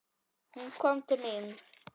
Hún kom til mín.